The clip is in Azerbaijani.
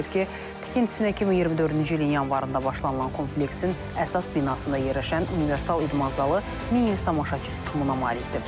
Bildirilib ki, tikintisinə 2024-cü ilin yanvarında başlanılan kompleksin əsas binasında yerləşən universal idman zalı 1100 tamaşaçı tutumuna malikdir.